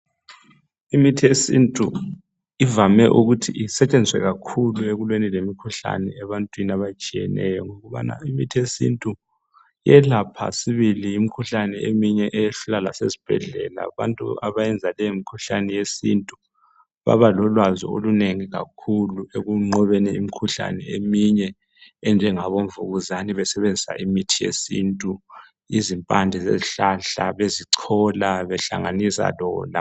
Imithi yesintu ivame ukuthi isetshenziswe kakhulu ekulweni lemikhuhlane ebantwini abatshiyeneyo ngokubana imithiyesintu iyelapha sibili imkhuhlane eminye eyehlula lasesibhedlela abantu abayenza leyi mikhuhlane yesintu baba lolwazi olunengi kakhulu ekunqobeni imkhuhlane eminye enjengabo mvukuzane besebenzisa imithi yesintu, izimpande zezihlahla bezichola behlanganisa.